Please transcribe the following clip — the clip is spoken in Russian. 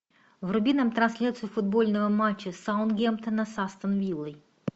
вруби нам трансляцию футбольного матча саутгемптона с астон виллой